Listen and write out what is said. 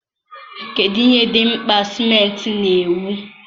kedụ ihe dị mkpa simenti na-ewu?